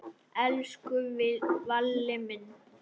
Elsku Valli minn.